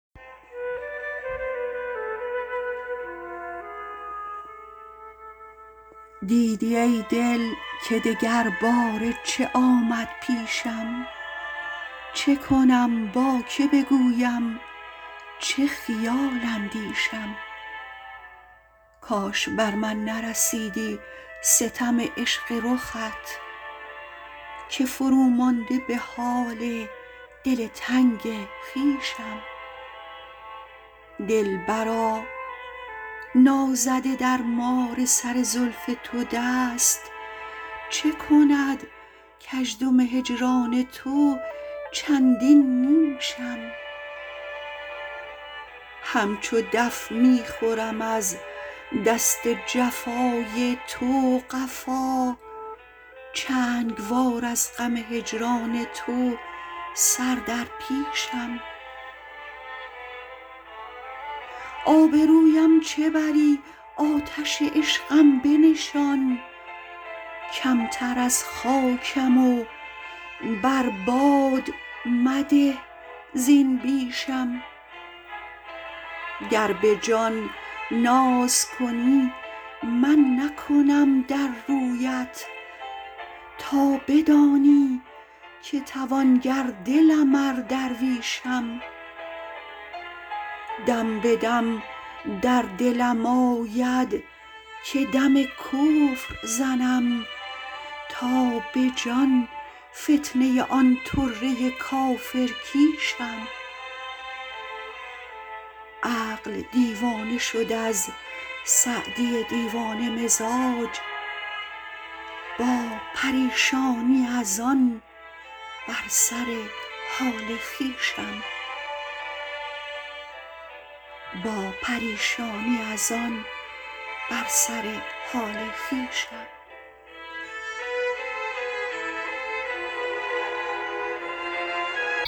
دیدی ای دل که دگر باره چه آمد پیشم چه کنم با که بگویم چه خیال اندیشم کاش بر من نرسیدی ستم عشق رخت که فرو مانده به حال دل تنگ خویشم دلبرا نازده در مار سر زلف تو دست چه کند کژدم هجران تو چندین نیشم همچو دف می خورم از دست جفای تو قفا چنگ وار از غم هجران تو سر در پیشم آبرویم چه بری آتش عشقم بنشان کمتر از خاکم و بر باد مده زین بیشم گر به جان ناز کنی گر نکنم در رویت تا بدانی که توانگر دلم ار درویشم دم به دم در دلم آید که دم کفر زنم تا به جان فتنه آن طره کافر کیشم عقل دیوانه شد از سعدی دیوانه مزاج با پریشانی از آن بر سر حال خویشم